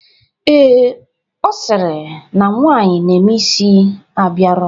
Ee, ọ sịrị na nwaanyị na-eme isi abịarọ,